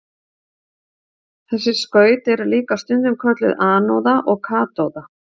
Þessi skaut eru líka stundum kölluð anóða og katóða.